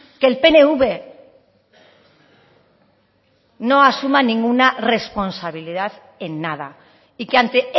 que el pnv no asuma ninguna responsabilidad en nada y que ante